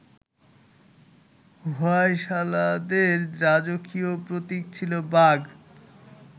হোয়সালাদের রাজকীয় প্রতীক ছিল বাঘ